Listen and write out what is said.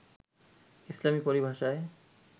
ইসলামী পরিভাষায়